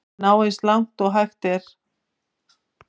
Ég vil ná eins langt og hægt er.